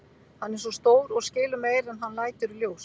Hann er svo stór og skilur meira en hann lætur í ljós.